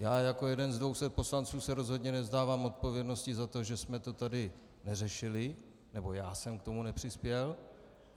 Já jako jeden z 200 poslanců se rozhodně nevzdávám odpovědnosti za to, že jsme to tady neřešili, nebo já jsem k tomu nepřispěl.